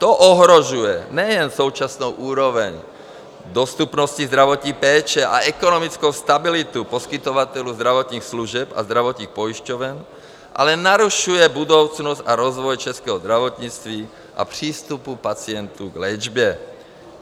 To ohrožuje nejen současnou úroveň dostupnosti zdravotní péče a ekonomickou stabilitu poskytovatelů zdravotních služeb a zdravotních pojišťoven, ale narušuje budoucnost a rozvoj českého zdravotnictví a přístupu pacientů k léčbě.